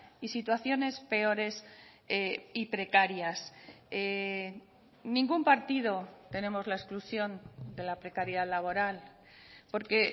y situaciones peores y precarias ningún partido tenemos la exclusión de la precariedad laboral porque